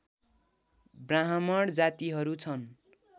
ब्राह्मण जातिहरू छन्